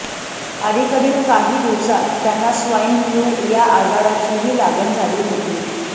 अलिकडील काही दिवसात त्यांना स्वाईन फ्लू या आजाराचीही लागण झाली होती